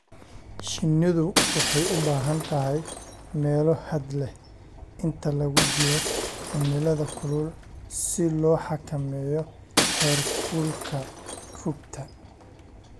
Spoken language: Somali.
Shinnidu waxay u baahan tahay meelo hadh leh inta lagu jiro cimilada kulul si loo xakameeyo heerkulka rugta.